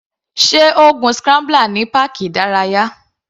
Sé o gun scrambler ní páàkì ìdárayá?